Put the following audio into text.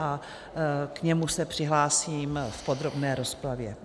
A k němu se přihlásím v podrobné rozpravě.